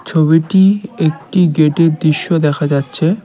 ছবিটি একটি গেটের দৃশ্য দেখা যাচ্ছে।